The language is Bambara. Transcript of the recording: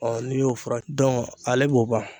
Ɔ n'i y'o fura dɔn ale b'o ban